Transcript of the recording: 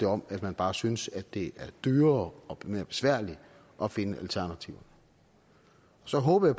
om at man bare synes det er dyrere og mere besværligt at finde alternativer så håber